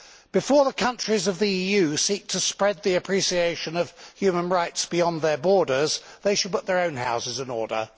Before the countries of the EU seek to spread the appreciation of human rights beyond their borders, they should put their own houses in order.